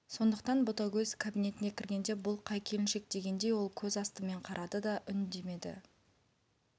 сондықтан ботагөз кабинетіне кіргенде бұл қай келіншек дегендей ол көз астымен қарады да үндемеді